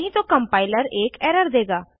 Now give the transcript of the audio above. नहीं तो कम्पाइलर एक एरर देगा